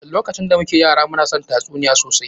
Lokacin da muke yara, mu na son tatsuniya sosai.